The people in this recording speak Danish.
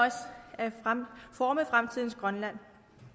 at forme fremtidens grønland